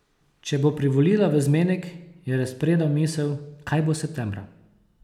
Če bo privolila v zmenek, je razpredal misel, kaj bo septembra?